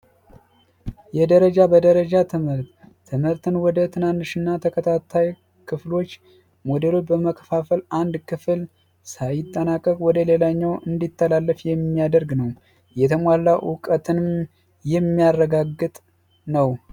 የደረጃ በደረጃ ትምህርት ትምህርትን ወደ ትናንሽ እና ተከታታይ ክፍሎች ሞዴሎች በመከፋፈል አንድ ክፍል ሳይጠናቀቅ ወደሌላኛው እንዲተላለፍ የሚያደርግ ነው። የተሟላ እውቀትንም የሚያረጋግጥ ነው።